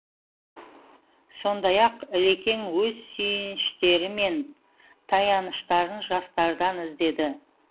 сондай ақ ілекең өз сүйеніштері мен таяныштарын жастардан іздеді